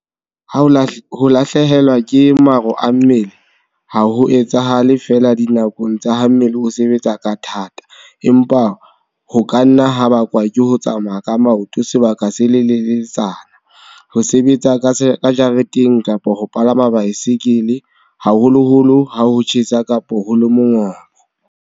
Ho lahlehelwa ke maro a mmele ha ho etsahale feela dinakong tsa ha mmele o sebetsa ka thata, empa ho ka nna ha bakwa ke ho tsamaya ka maoto sebaka se seleletsana, ho sebetsa ka jareteng kapa ho palama baesekele, haholoholo ha ho tjhesa kapa ho le mongobo.